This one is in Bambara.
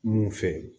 Mun fɛ